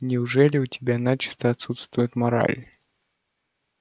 неужели у тебя начисто отсутствует мораль